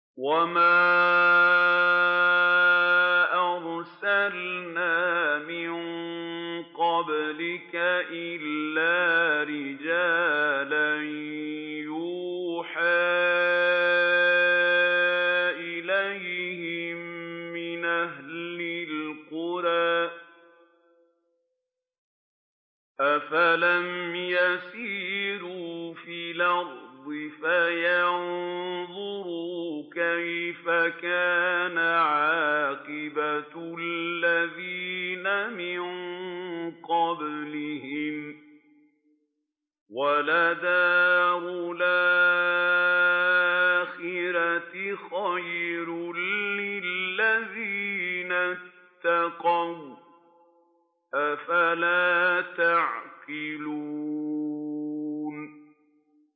وَمَا أَرْسَلْنَا مِن قَبْلِكَ إِلَّا رِجَالًا نُّوحِي إِلَيْهِم مِّنْ أَهْلِ الْقُرَىٰ ۗ أَفَلَمْ يَسِيرُوا فِي الْأَرْضِ فَيَنظُرُوا كَيْفَ كَانَ عَاقِبَةُ الَّذِينَ مِن قَبْلِهِمْ ۗ وَلَدَارُ الْآخِرَةِ خَيْرٌ لِّلَّذِينَ اتَّقَوْا ۗ أَفَلَا تَعْقِلُونَ